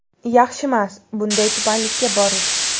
Yaxshimas, bunday tubanlikka borish.